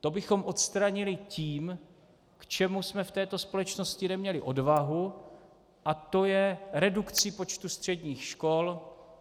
To bychom odstranili tím, k čemu jsme v této společnosti neměli odvahu, a to je redukcí počtu středních škol.